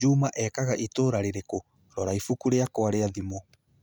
Juma ekaga itũũra rĩrĩkũ? Rora ibuku rĩakwa rĩa thimũ